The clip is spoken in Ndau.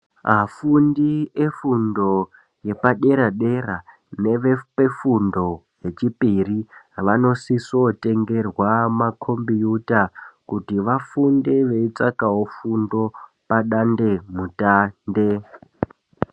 Afundi efundo yepadera-dera nevefundo yachipiri vanosiso tengerwa makombiyuta kuti vafunde veitsvakawo fundo padandemutande.